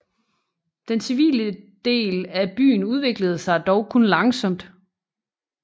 Den civile dele af byen udviklede sig dog kun langsomt